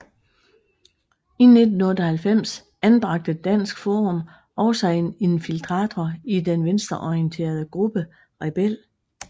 I 1998 anbragte Dansk Forum også en infiltrator i den venstreorienterede gruppe Rebel